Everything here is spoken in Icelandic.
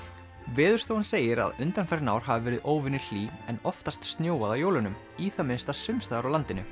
Veðurstofan segir að undanfarin ár hafi verið óvenju hlý en oftast snjóað á jólunum í það minnsta sums staðar á landinu